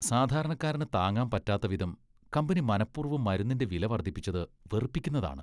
സാധാരണക്കാരന് താങ്ങാൻ പറ്റാത്ത വിധം കമ്പനി മനപ്പൂർവ്വം മരുന്നിന്റെ വില വർദ്ധിപ്പിച്ചത് വെറുപ്പിക്കുന്നതാണ് .